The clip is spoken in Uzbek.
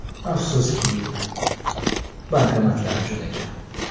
Afsuski, bankomatlar juda kam.